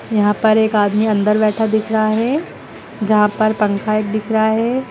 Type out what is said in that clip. यहां पर एक आदमी अंदर बैठा दिख रहा है जहां पर पंखा एक दिख रहा है।